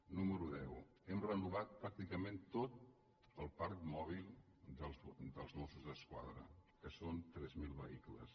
número onze hem renovat pràcticament tot el parc mòbil dels mossos d’esquadra que són tres mil vehi·cles